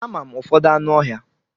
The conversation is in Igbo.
Ama m ụfọdụ anụ ọhịa.